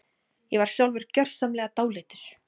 Ég var sjálfur gjörsamlega dáleiddur.